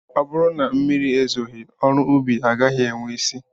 Ọ bụrụ na mmiri ezoghị ọrụ ubi agaghị enwe isi